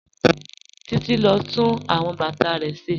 Títí n lọ tún awọn bátà rẹ̀ ṣẹ́.